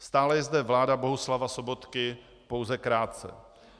Stále je zde vláda Bohuslava Sobotky pouze krátce.